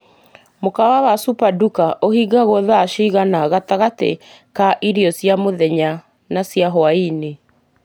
mũkawa wa supa duka ũhingagwo thaa cigana gatagatĩ wa irio cia mũthenya na cia hwaĩinĩ